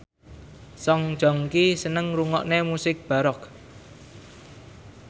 Song Joong Ki seneng ngrungokne musik baroque